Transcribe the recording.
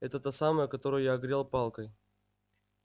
это та самая которую я огрел палкой